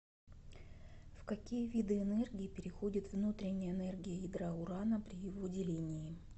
в какие виды энергии переходит внутренняя энергия ядра урана при его делении